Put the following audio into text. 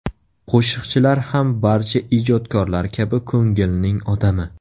Qo‘shiqchilar ham barcha ijodkorlar kabi ko‘ngilning odami.